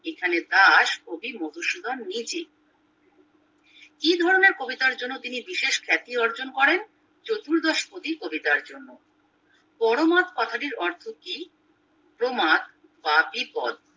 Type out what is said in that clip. এখানে দাস কবি মধুসূধন নিজেই কি ধরণের কবিতার জন্য তিনি বিশেষ খ্যাতি অর্জন করেন চতুর্দশ পদী কবিতার জন্য পরমাদ কথা টির অর্থ কি তোমার বাকি পথ